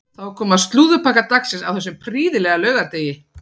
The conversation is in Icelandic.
Þá er komið að slúðurpakka dagsins á þessum prýðilega laugardegi.